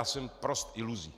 A jsem prost iluzí.